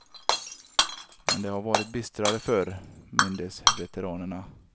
Men det har varit bistrare förr, mindes veteranerna.